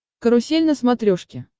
карусель на смотрешке